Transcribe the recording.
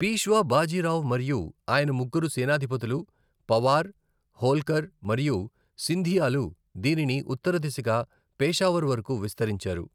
పీష్వా బాజీరావ్ మరియు ఆయన ముగ్గురు సేనాధిపతులు పవార్, హోల్కర్ మరియు సింధియాలు దీనిని ఉత్తర దిశగా పెషావర్ వరకు విస్తరించారు.